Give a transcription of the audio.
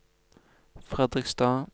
Fredrikstad